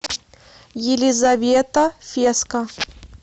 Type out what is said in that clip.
елизавета феска